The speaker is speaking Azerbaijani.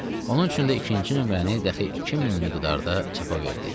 Onun üçün də ikinci nömrəni dəxi 2000 miqdarda çapa verdik.